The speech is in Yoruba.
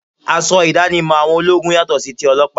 Aṣọ ìdánimọ̀ àwọn ológun yàtọ sí tí ọlọ́pàá